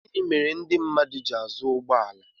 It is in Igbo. gịnị mere ndị mmadụ ji azụ ụgbọ ala